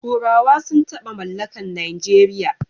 Turawa sun taba mallakan Najeriya